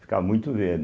Ficava muito verde.